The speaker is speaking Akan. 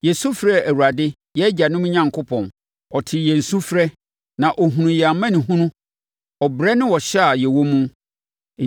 yɛsu frɛɛ Awurade, yɛn agyanom Onyankopɔn. Ɔtee yɛn sufrɛ na ɔhunuu yɛn amanehunu, ɔbrɛ ne ɔhyɛ a yɛwɔ mu.